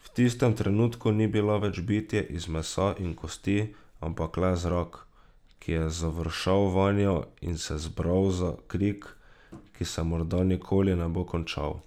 V tistem trenutku ni bila več bitje iz mesa in kosti, ampak le zrak, ki je završal vanjo in se zbral za krik, ki se morda nikoli ne bo končal.